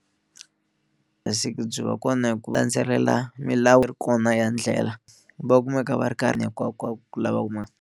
Masiku byi va kona hi ku landzelela milawu yi ri kona ya ndlela va kumeka va ri karhi .